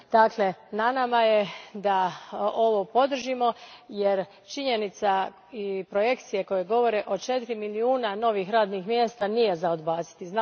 Dakle, na nama je da ovo podržimo jer činjenica i projekcije koje govore o četiri milijuna novih radnih mjesta nije za odbaciti.